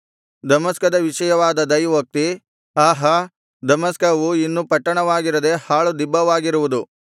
ದಮಸ್ಕದ ವಿಷಯವಾದ ದೈವೋಕ್ತಿ ಆಹಾ ದಮಸ್ಕವು ಇನ್ನು ಪಟ್ಟಣವಾಗಿರದೇ ಹಾಳು ದಿಬ್ಬವಾಗಿರುವುದು